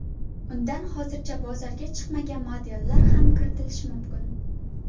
Undan hozircha bozorga chiqmagan modellar ham kiritilishi mumkin.